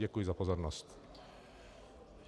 Děkuji za pozornost.